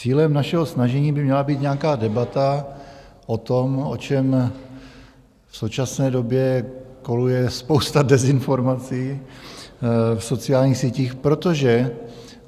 Cílem našeho snažení by měla být nějaká debata o tom, o čem v současné době koluje spousta dezinformací v sociálních sítích, protože